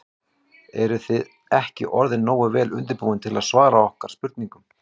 Eruð þið ekki orðnir nógu vel undirbúnir til að svara okkar spurningum?